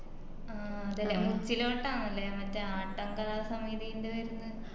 മുച്ചിലോട്ട് ആന്ന് ലെ മറ്റേ ആട്ടം കലാസമിതിന്റെ വേർന്നെ